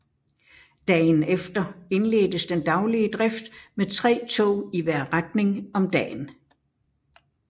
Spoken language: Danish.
Dagen efter indledtes den daglige drift med tre tog i hver retning om dagen